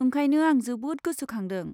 ओंखायनो आं जोबोद गोसोखांदों।